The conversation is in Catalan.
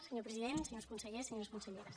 senyor president senyors consellers senyores conselleres